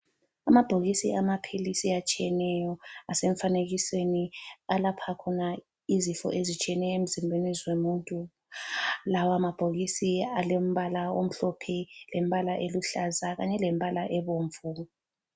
Amabhokisi amaphilisi atshiyeneyo, asemfanekisweni alapha khona izifo ezitshiyeneyo emzimbeni zomuntu. Lawa mabhokisi alembala omhlophe, lembala eluhlaza kanye lembala ebomvu.